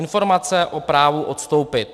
Informace o právu odstoupit.